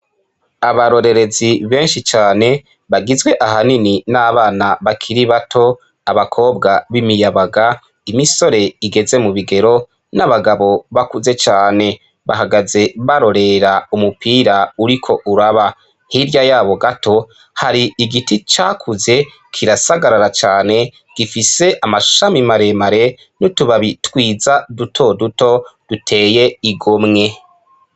Abarorerezi benshi cane bagizwe ahanini n'abana bakiri bato abakobwa b'imiyabaga imisore igeze mu bigero n'abagabo bakuze cane bahagaze barorera umupira uriko uraba hirya yabo gato hari igiti cakuze kirasa agarara cane gifise amashami maremare nutubabi twiza duto duto duteye igomwe.